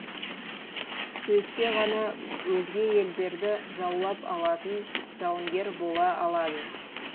сөйтсе ғана өзге елдерді жаулап алатын жауынгер бола алады